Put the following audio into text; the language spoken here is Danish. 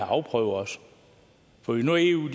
afprøvet for hvis nu eu